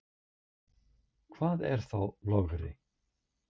Hvað er þá logri?